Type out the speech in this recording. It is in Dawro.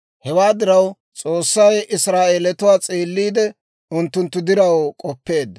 Hewaa diraw, S'oossay Israa'eelatuwaa s'eelliide unttunttu diraw k'oppeedda.